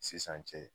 Sisan cɛ